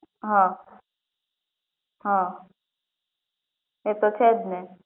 હા હા એ તો છે જ ને